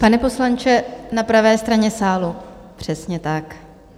Pane poslanče, na pravé straně sálu, přesně tak.